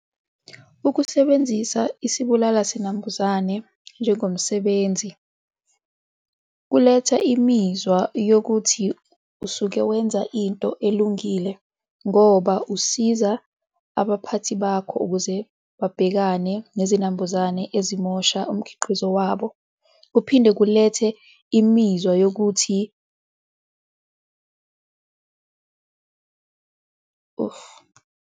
Ukusebenzisa isibulala zinambuzane njengomsebenzi kuletha imizwa yokuthi usuke wenza into elungile ngoba usiza abaphathi bakho, ukuze babhekane nezinambuzane ezamosha umkhiqizo wabo. Kuphinde kulethe imizwa yokuthi .